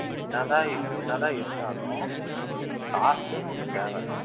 என்னதான் என்னதான் இருந்தாலும் காத்துன்னு ஒண்ணு தேவை